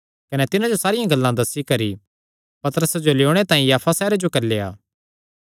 कने तिन्हां जो सारियां गल्लां दस्सी करी पतरसे जो लेयोणे तांई याफा सैहरे जो घल्लेया